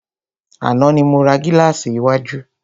Àná ni mo ra gílàsì iwájú.